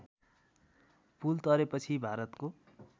पुल तरेपछि भारतको